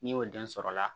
N'i y'o den sɔrɔ la